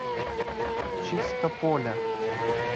чистополя